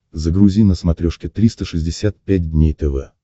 загрузи на смотрешке триста шестьдесят пять дней тв